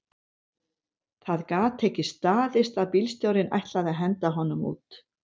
Það gat ekki staðist að bílstjórinn ætlaði að henda honum út